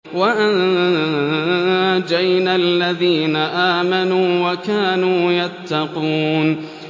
وَأَنجَيْنَا الَّذِينَ آمَنُوا وَكَانُوا يَتَّقُونَ